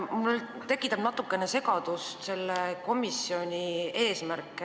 Minus tekitab natuke segadust selle komisjoni eesmärk.